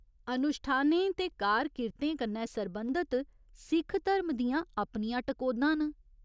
अनुश्ठानें ते कार किरतें कन्नै सरबंधत सिख धरम दियां अपनियां टकोह्दां न।